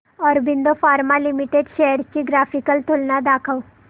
Aurobindo Pharma Limited shares ची graphical तुलना दाखव